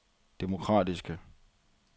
demokratiske